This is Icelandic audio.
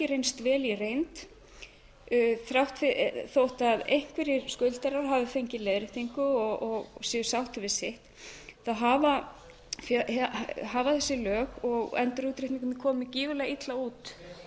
reynst vel í reynd þótt einhverjir skuldarar hafi fengið leiðréttingu og séu sáttir við sitt hafa þessi lög og endurútreikningurinn komið gífurlega illa út